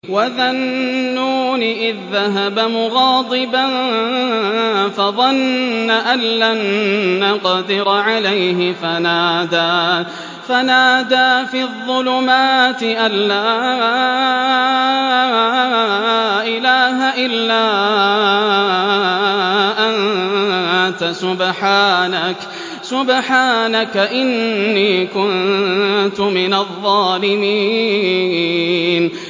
وَذَا النُّونِ إِذ ذَّهَبَ مُغَاضِبًا فَظَنَّ أَن لَّن نَّقْدِرَ عَلَيْهِ فَنَادَىٰ فِي الظُّلُمَاتِ أَن لَّا إِلَٰهَ إِلَّا أَنتَ سُبْحَانَكَ إِنِّي كُنتُ مِنَ الظَّالِمِينَ